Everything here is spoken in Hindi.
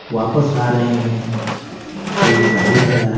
वापस आ रहे हैं एक गाड़ी खड़ा है।